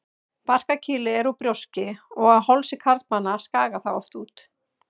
Barkakýlið er úr brjóski og á hálsi karlmanna skagar það oft út.